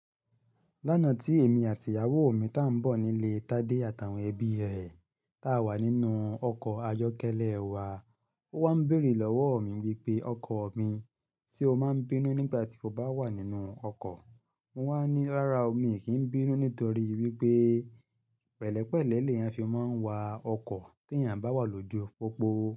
Lánàá tí èmi àti ìyàwó mi tá ń bọ̀ nílé Tádé àtàwọn ẹbí rẹ̀, tá wà nínú ọkọ̀ ayọ́kẹ́lẹ́ wa, ó wá ń bèrè lọ́wọ́ mi wípé, ọkọ̀ mi, ṣe o máa ń bínú nígbà tí o bá wà nínú ọkọ̀? Mo wá ní, rárá o mi kì ń bínú nítorí wípé pẹ̀lẹ́pẹ̀lẹ́ leyan fi máa ń wa ọkọ̀ tí èèyàn bá wà lójú pópó.